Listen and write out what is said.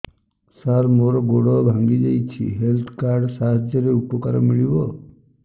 ସାର ମୋର ଗୋଡ଼ ଭାଙ୍ଗି ଯାଇଛି ହେଲ୍ଥ କାର୍ଡ ସାହାଯ୍ୟରେ ଉପକାର ମିଳିବ